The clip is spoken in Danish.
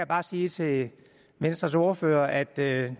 bare sige til venstres ordfører at det